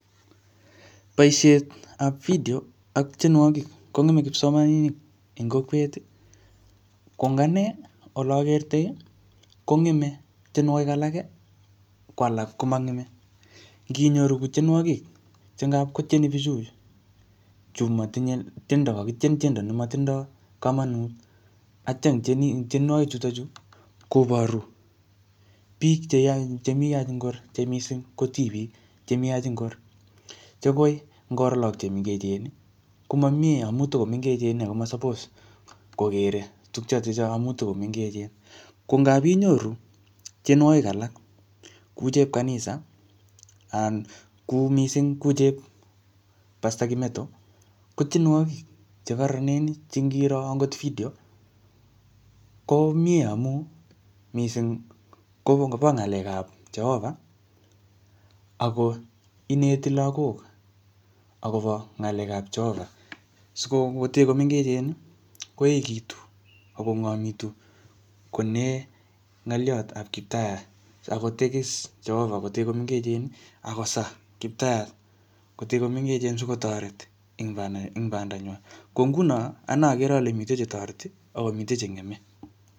Boisietap video ak tienwogik kongeme kipsomaninik en kokwet. Ko ing ane, ole akertoi, kongeme tienwogik alage, ko alak ko mangeme. Nginyoru ko tienwogik, che ngapkotieni bichu, chu matinye tiendo, kakitien tiendo ne matindoi komonut. Atya, eng tienwogik chutochu, koboru biik cheyach chemii ngor, che missing ko tibik chemii yach ngor. Che koi ngoro lagok che mengechen, komamiee amu tikomengechen akoma suppose kokere tukchotocho amuu tikomengechen. Ko ngap inyoru tienwogik alak kuu chep kanisa, anan kuu missing kuu chep Pastor Kimettto. Ko tienwogik che kararanen, che ngiro angot video, ko miee amu miissing kobo ngalekap Jehovah, ako ineti lagok akobo ng'alek ap Jehovah. Sikomute komengechen, koekitu akong'omitu konae ngoliot ap kiptayat. Akotegis Jehovah kotee komengechen. Akosaa kiptayat kotee komengechen sikotoret eng banda, eng banda nywaa. Ko nguno, agere ale mitei chetoreti, akomite che ng'eme